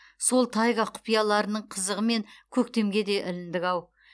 сол тайга құпияларының қызығымен көктемге де іліндік ау